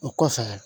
O kɔfɛ